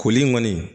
Koli in kɔni